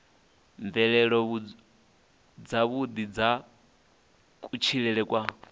mvelelo dzavhuḓi dza kutshilele kwa